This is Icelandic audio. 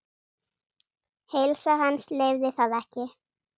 Heilsa hans leyfði það ekki.